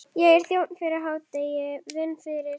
Ég er þjónn fyrir hádegi, vinn fyrir